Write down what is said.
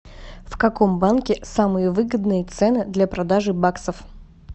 в каком банке самые выгодные цены для продажи баксов